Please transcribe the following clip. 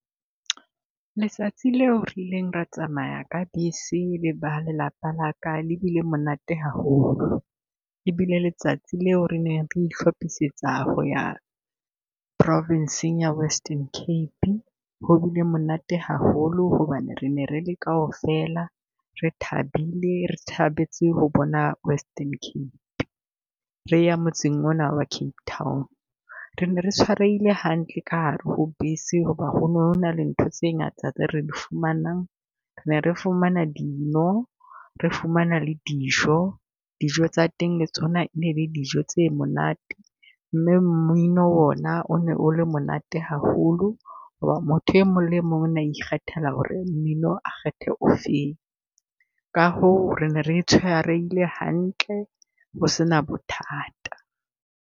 Letsatsi leo re ileng re tsamaya ka bese leba lelapa laka le bile monate haholo. E bile letsatsi leo re neng re ihlophisetsa ho ya province-ing Western Cape. Ho bile monate haholo hobane re ne re le kaofela, re thabile re thabetse ho bona Western Cape, re ya motseng ona wa Cape Town. Re ne re tshwarehile hantle ka hare ho bese hoba ho ne ho na le ntho tse ngata tse re di fumanang. Ne re fumana dino, re fumana le dijo, dijo tsa teng le tsona ne e le dijo tse monate. Mme mmino ona o ne o le monate haholo ho ba motho e mong le mong o na ikgethela ho re mmino o kgethe o feng. Ka hoo, re ne re tshwarehile hantle, ho se na bothata.